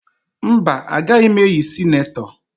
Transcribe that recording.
Mba, ọ gaghị eyi sinetọ